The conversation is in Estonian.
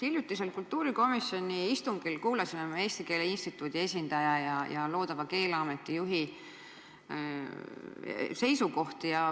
Hiljutisel kultuurikomisjoni istungil kuulasime me Eesti Keele Instituudi esindaja ja loodava Keeleameti juhi seisukohti.